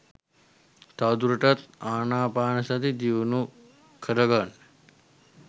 තවදුරටත් ආනාපානසතිය දියුණු කරගන්න